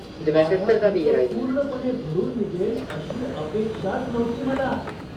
माझा खर्च पूर्णपणे भरून निघेल अशी अपेक्षाच नव्हती मला!